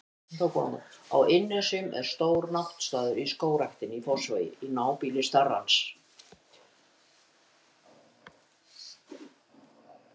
Á Innnesjum er stór náttstaður í Skógræktinni í Fossvogi, í nábýli starans.